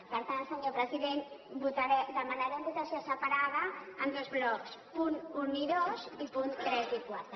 per tant senyor president demanarem votació separada en dos blocs punts un i dos i punts tres i quatre